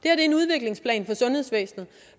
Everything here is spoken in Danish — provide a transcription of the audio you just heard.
er en udviklingsplan for sundhedsvæsenet